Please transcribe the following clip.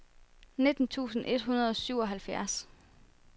nitten tusind et hundrede og syvoghalvfjerds